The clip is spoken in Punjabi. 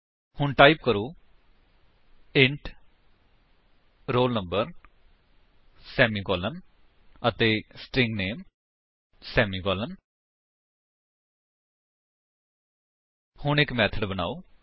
ਹੁਣ ਟਾਈਪ ਕਰੋ ਇੰਟ roll number ਸੇਮੀਕਾਲਨ ਅਤੇ ਸਟ੍ਰਿੰਗ ਨਾਮੇ ਸੇਮੀਕਾਲਨ ਹੁਣ ਇੱਕ ਮੇਥਡ ਬਨਾਓ